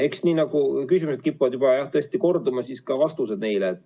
Eks jah, nii nagu küsimused kipuvad juba tõesti korduma, nii ka vastused neile.